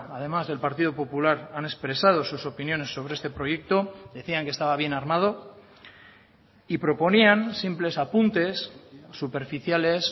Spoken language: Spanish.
además del partido popular han expresado sus opiniones sobre este proyecto decían que estaba bien armado y proponían simples apuntes superficiales